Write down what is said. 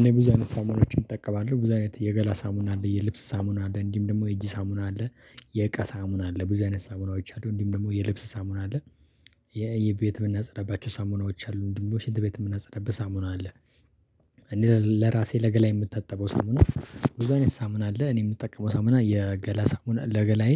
እኔ ብዙ አይነት ሳሙናዎችን እጠቀማለሁ ብዙ አይነት የገላ ሳሙና አለ የልብስ ሳሙና አለ እንዲህም ደግሞ የእጅ ሳሙና አለ የእቃ ሳሙና አለ ብዙ አይነት ሳሙናዎች አሉ እንዲም ደግሞ የልብስ ሳሙና አለ። የቤት የምናጸዳባቸው ሳሙናዎች አሉ እንዲሁም ደግሞ ሸንት ቤት የምናጸዳበት ሳሙና አለ። እኔ ለራሴ ለገላ የምታጠበው ሳሙና ብዙ አይነት ሳሙና አለ እኔ የምጠቀመው ሳሙና የገላ ሳሙና ለገላዬ